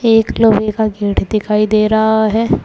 एक लोहे का गेट दिखाई दे रहा है।